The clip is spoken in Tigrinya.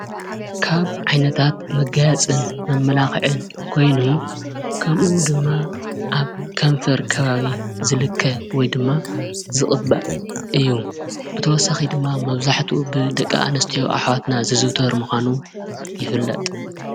ካብ ዓይነታት መጋጽን መመላኽዕን ኮይኑ ከምኡ ድማ ኣብ ከንፈር ከባቢ ዝልከ ወይ ድማ ዝቕበኣ እዩ። ብተወሳኺ ድማ መብዛሕቱ ብደቂ ኣንስዮ ኣኅዋትና ዝዝውተር ምዃኑ ይፍለጠ።